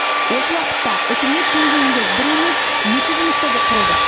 осы уақытта үкімет деңгейінде бір емес екі жұмыс тобы құрылды